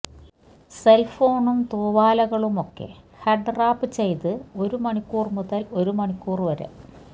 സെലഫോണും തൂവാലകളുമൊക്കെ head wrap ചെയ്ത് ഒരു മണിക്കൂർ മുതൽ ഒരു മണിക്കൂർ വരെ